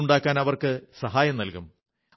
വീടുണ്ടാക്കാൻ അവർക്ക് സഹായം നല്കും